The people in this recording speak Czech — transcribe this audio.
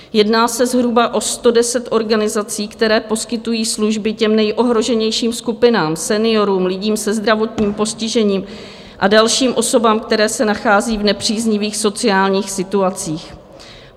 Jedná se zhruba o 110 organizací, které poskytují služby těm nejohroženějším skupinám - seniorům, lidem se zdravotním postižením a dalším osobám, které se nachází v nepříznivých sociálních situacích.